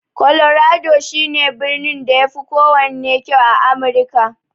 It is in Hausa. Colorado shi ne birnin da yafi kowanne kyau a Amirka.